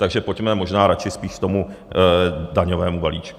Takže pojďme možná radši spíš k tomu daňovému balíčku.